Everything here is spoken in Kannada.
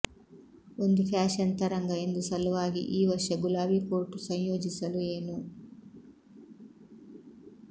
ಒಂದು ಫ್ಯಾಶನ್ ತರಂಗ ಎಂದು ಸಲುವಾಗಿ ಈ ವರ್ಷ ಗುಲಾಬಿ ಕೋಟ್ ಸಂಯೋಜಿಸಲು ಏನು